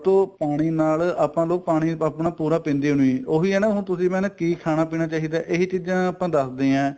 ਤੋਂ ਪਾਣੀ ਨਾਲ ਆਪਾਂ ਨੂੰ ਪਾਣੀ ਆਪਣਾ ਪੂਰਾ ਪੀਂਦੇ ਓ ਨਹੀਂ ਉਹੀ ਏ ਨਾ ਹੁਣ ਤੁਸੀਂ ਮੈਂ ਨਾ ਕੀ ਖਾਣਾ ਪੀਣਾ ਚਾਹੀਦਾ ਇਹੀ ਚੀਜ਼ਾਂ ਆਪਾਂ ਦੱਸਦੇ ਆ